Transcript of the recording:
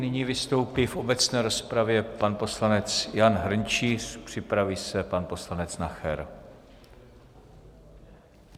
Nyní vystoupí v obecné rozpravě pan poslanec Jan Hrnčíř, připraví se pan poslanec Nacher.